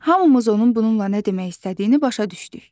Hamımız onun bununla nə demək istədiyini başa düşdük.